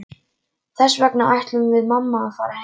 Þess vegna ætlum við mamma að fara heim.